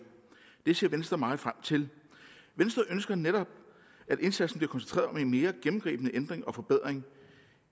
det ser venstre meget frem til venstre ønsker netop at indsatsen bliver koncentreret om en mere gennemgribende ændring og forbedring